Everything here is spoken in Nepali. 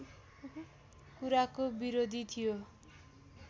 कुराको विरोधी थियो